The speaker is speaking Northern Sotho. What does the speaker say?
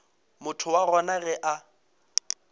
motho wa gona ge a